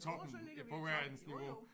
Jo så ligger vi i toppen jo jo